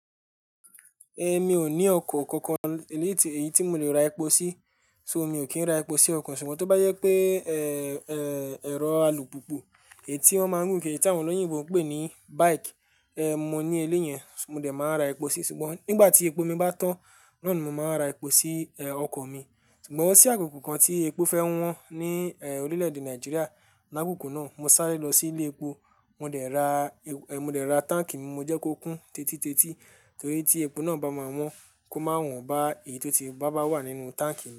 Mi ò ní ọkọ̀ kankan, èyí tí mò lè ra epo sí, ṣo mi ò kí n ra epo sí ọkọ̀, ṣùgbọ́n tó bá jẹ pé, ẹ̀rọ alùpùpù, èyí tí wón ń gùn, èyí tí àwọn olóyìnbo ń pè ní bike, mo ní eléyẹn, mo dẹ̀ máa ra epo sí i. Ṣùgbọ́n nígbà tí epo mi bá tán, náà ni mo máa ra epo sí, ọkọ̀ mi. Ṣùgbọ́n ó sí àkoko kan tí epo fẹ́ wọ́n ní, orílẹ̀-èdè Nàìjíríà, ní àkókò náà mo sáré lọ sí ilé epo, mo dẹ̀ ra, mo dẹ̀ ra táǹkì mi, mo jẹ́ kó kún tètitétí torí tí epo náà bá máa wọ́n kó máa wọ́n bá èyí tó ti bá bá wà nínú táǹkì mi.